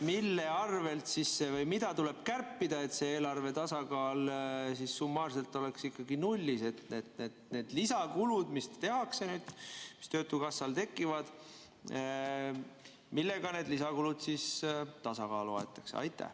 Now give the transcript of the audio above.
Mille arvel see tuleb või mida tuleb kärpida, et see eelarve tasakaal summaarselt oleks ikkagi nullis, et need lisakulud, mis tehakse, mis töötukassal tekivad, saaks tasakaalu aetud?